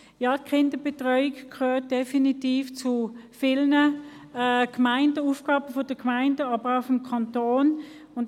Die Kinderbetreuung gehört definitiv zu den Aufgaben vieler Gemeinden, aber auch des Kantons.